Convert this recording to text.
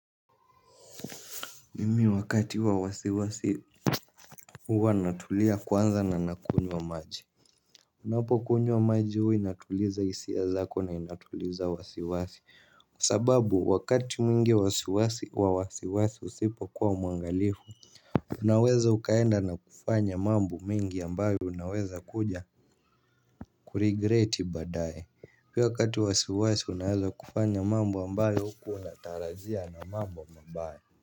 Mimi wakati wa wasiwasi huwa natulia kwanza na nakunywa maji. Unapokunywa maji huwa inatuliza hisia zako na inatuliza wasiwasi. Kwa sababu wakati mwingi wasiwasi wa wasiwasi usipokuwa mwangalifu unaweza ukaenda na kufanya mambo mengi ambayo unaweza kuja kuregret baadaye pia wakati unaeza kufanya mambo ambayo haukuwa unatarajia na mambo mabaya.